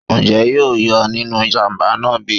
njé yóò yè nínú ìjàǹbá náá bi?